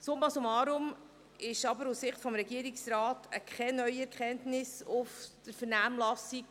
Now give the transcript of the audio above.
Summa summarum ergab sich aus Sicht des Regierungsrats keine neue Erkenntnis aus der Vernehmlassung.